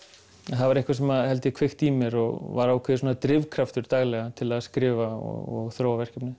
það var eitthvað sem kveikti í mér og var drifkraftur daglega til að skrifa og þróa verkefnið